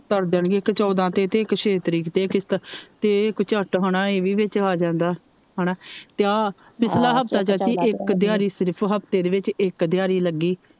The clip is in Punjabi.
ਤਰ ਜਾਣਗੀਆਂ ਇਕ ਚੋਦਾਂ ਤੇ ਇਕ ਛੇ ਤਰੀਕ ਤੇ ਕਿਸਤ ਤੇ ਇਕ ਝਟ ਹੇਨਾ ਇਹ ਵੀ ਵਿਚ ਆ ਜਾਂਦਾ ਹੇਨਾ ਤੇ ਆ ਪਿਛਲਾ ਹਫਤਾ ਚਾਚੀ ਇਕ ਦਿਹਾੜੀ ਸਿਰਫ ਚਾਚੀ ਹਫਤੇ ਦੇ ਵਿਚ ਇਕ ਦਿਹਾੜੀ ਲੱਗੀ।